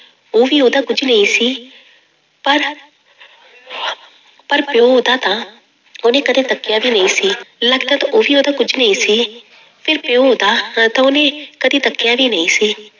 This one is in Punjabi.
ਉਹ ਵੀ ਉਹਦਾ ਕੁੱਝ ਨਹੀਂ ਸੀ ਪਰ ਪਰ ਪਿਓ ਉਹਦਾ ਤਾਂ ਉਹਨੇ ਕਦੇ ਤੱਕਿਆ ਵੀ ਨਹੀਂ ਸੀ, ਲੱਗਦਾ ਤਾਂ ਉਹ ਵੀ ਉਹਦਾ ਕੁੱਝ ਨਹੀਂ ਸੀ ਫਿਰ ਪਿਓ ਉਹਦਾ ਨਾ ਤਾਂ ਉਹਨੇ ਕਦੇ ਤੱਕਿਆ ਵੀ ਨਹੀਂ ਸੀ।